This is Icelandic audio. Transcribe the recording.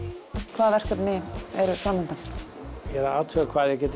hvaða verkefni eru framundan ég er að athuga hvað ég get